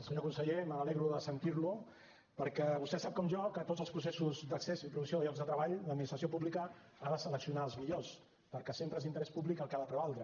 senyor conseller me n’alegro de sentir lo perquè vostè sap com jo que a tots els processos d’accés i provisió a llocs de treball l’administració pública ha de seleccionar els millors perquè sempre és l’interès públic el que ha de prevaldre